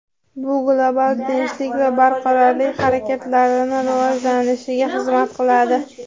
bu global tinchlik va barqarorlik harakatlarini rivojlanishiga xizmat qiladi.